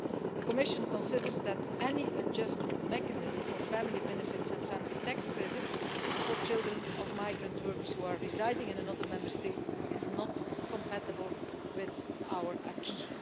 The Commission considers that any adjustment mechanism for family benefits and family tax credits for children of migrant workers who are residing in another Member State are not compatible with our acquis.